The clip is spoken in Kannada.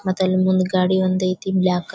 ಮತ್ತೆ ಅಲ್ಲಿ ಮುಂಡುಗಾಡೆ ಒಂದ್ ಐತಿ ಬ್ಲಾಕ್ --